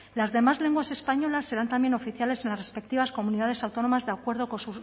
las demás lenguas españolas serán también oficiales en las respectivas comunidades autónomas de acuerdo con